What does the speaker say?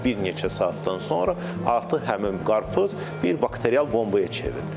Və bir neçə saatdan sonra artıq həmin qarpız bir bakterial bombaya çevrilir.